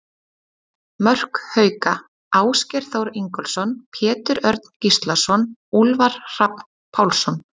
Mörk Hauka: Ásgeir Þór Ingólfsson, Pétur Örn Gíslason, Úlfar Hrafn Pálsson.